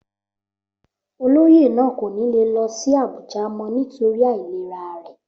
Olóyè náà kò ní lè lọ sí Abuja mọ́ nítorí àìlera rẹ̀